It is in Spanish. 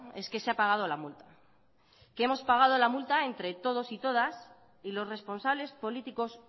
es que se ha pagado la multa hemos pagado la multa entre todos y todas y los responsables políticos